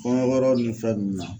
Kɔɲɔ yɔrɔ ni fɛn ninnu na.